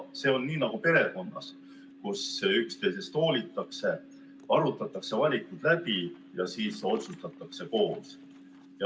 See on nii nagu perekonnas, kus üksteisest hoolitakse, arutatakse valikud läbi ja siis otsustatakse koos.